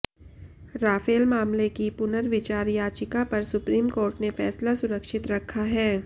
Rafale मामले की पुनर्विचार याचिका पर सुप्रीम कोर्ट ने फ़ैसला सुरक्षित रखा है